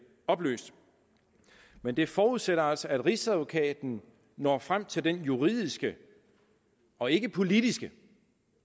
opløst men det forudsætter altså at rigsadvokaten når frem til den juridiske og ikke politiske